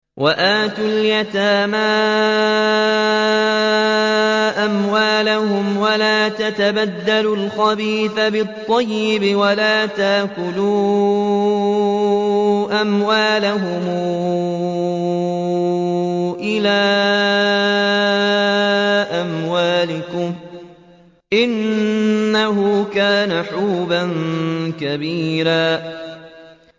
وَآتُوا الْيَتَامَىٰ أَمْوَالَهُمْ ۖ وَلَا تَتَبَدَّلُوا الْخَبِيثَ بِالطَّيِّبِ ۖ وَلَا تَأْكُلُوا أَمْوَالَهُمْ إِلَىٰ أَمْوَالِكُمْ ۚ إِنَّهُ كَانَ حُوبًا كَبِيرًا